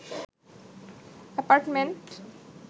apartment